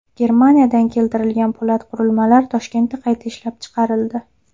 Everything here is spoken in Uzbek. Germaniyadan keltirilgan po‘lat qurilmalar Toshkentda qayta ishlab chiqarildi.